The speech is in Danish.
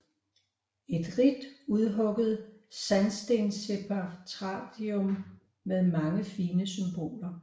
Et rigt udhugget sandstensepitafium med mange fine symboler